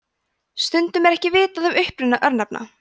stundum er ekki vitað um uppruna örnefna